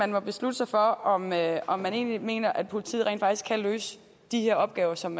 man beslutte sig for om man om man egentlig mener at politiet rent faktisk kan løse de her opgaver som